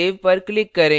save पर click करें